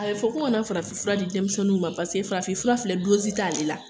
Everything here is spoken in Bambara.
A be fɔ ko kana farafinfura di denmisɛnninw ma paseke farafinfura filɛ dozi t'ale la